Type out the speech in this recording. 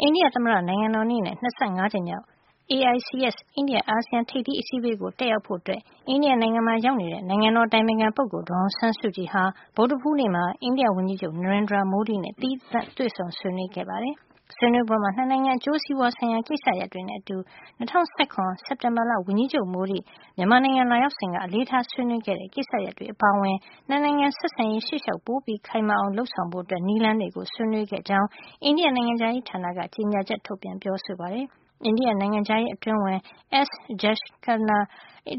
အိန္ဒိယသမ္မတနိုင်ငံတော်နေ့နဲ့ ၂၅ ကြိမ်မြောက် AICS အိန္ဒိယ -အာဆီယံ ထိပ်သီး အစည်းဝေးကို တက်ရောက်ဖို့ အိန္ဒိယနိုင်ငံမှာ ရောက်နေတဲ့ နိုင်ငံတော်အတိုင်ပင်ခံပုဂ္ဂိုလ် ဒေါ်အောင်ဆန်းစုကြည်ဟာ ဗုဒ္ဓဟူးနေ့မှာ အိန္ဒိယဝန်ကြီးချုပ် Narendra Modi နဲ့ သီးသန့်တွေ့ဆုံ ဆွေးနွေး ခဲ့ပါတယ်။ ဆွေးနွေးပွဲမှာ ၂ နိုင်ငံ အကျိုးစီးပွါးဆိုင်ရာ ကိစ္စရပ်တွေနဲ့အတူ ၂၀၁၇ စက်တင်ဘာလ ဝန်ကြီးချုပ် Modi မြန်မာနိုင်ငံ လာရောက်စဉ်က အလေးထားဆွေးနွေးခဲ့တဲ့ ကိစ္စရပ်တွေအပါအဝင် ၂ နိုင်ငံ ဆက်ဆံရေး ရှေ့ရှောက် ပိုမိုခိုင်မာအောင် လုပ်ဆောင်ဖို့ နည်းလမ်းတွေကို ဆွေးနွေးခဲ့ကြကြောင်း အိန္ဒိယနိုင်ငံခြားရေးဌာနက ကြေညာချက်ထုတ်ပြန် ပြောဆိုပါတယ်။ အိန္ဒိယ နိုင်ငံခြားရေး အတွင်းဝန် S. Jaishankar